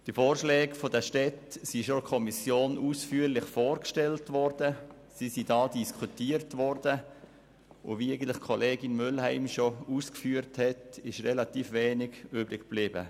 Die Vorschläge der Städte sind schon in der Kommission ausführlich vorgestellt und ihre Vorschläge diskutiert worden, und wie Kollegin Mühlheim ausgeführt hat, ist relativ wenig übrig geblieben.